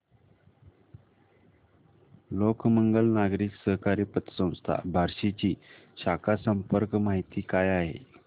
लोकमंगल नागरी सहकारी पतसंस्था बार्शी ची शाखा संपर्क माहिती काय आहे